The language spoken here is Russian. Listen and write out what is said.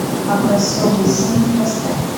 образцовые семьи поставь